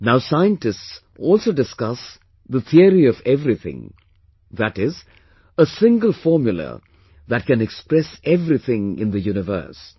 Now scientists also discuss Theory of Everything, that is, a single formula that can express everything in the universe